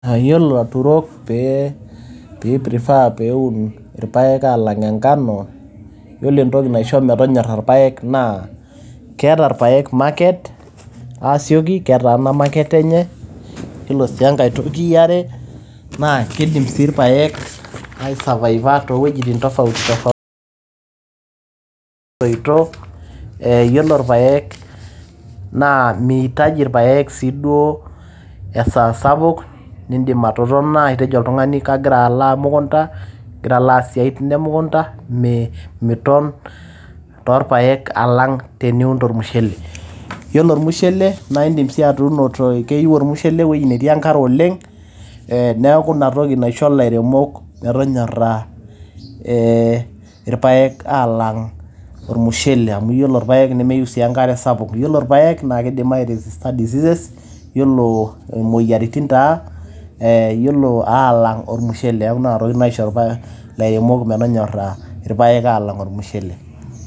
Yiolo laturok pee ei prefer pee eun irpaek alang enkano. Yiolo entoki naisho metonyorra ilpaek naa keeta ilpaek market aasioki. Ketaana market enye. Yiolo sii enkae toki e are naa kidim sii ilpaek ai survive aa too wuejitin tofauti tofauti etoito. Yiolo ilpaek na mihitaji ilpaek sii duo esaa sapuk nidim atotona atejo oltung`ani kagira alo e mukunta, kalo aaas isiaitin e mukunta miton too ilpaek alang teniun olmushele. Yiolo olmushele naa idim sii atuuno , keyieu olmushele ewueji netii enkare oleng. Niaku ina toki naisho ilaremok metonyaraa eeh ilpaek aalang olmushele. Amu yiolo ilpaek nemeyieu sii enkare sapuk, yiolo ilpaek naa keidim ai resist aa diseases. Yiolo moyiaritin taa eeh yiolo aalang olmushele amu nena tokitin naisho ilpaek lairemok metonyoraa ilpaek aalang olmushele.